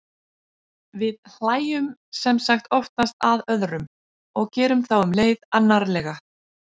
við hlæjum sem sagt oftast að öðrum og gerum þá um leið annarlega